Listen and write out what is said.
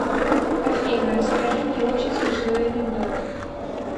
афина расскажи мне очень смешной анекдот